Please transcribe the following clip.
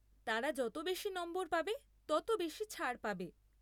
তারা যত বেশী নম্বর পাবে, তত বেশী ছাড় পাবে।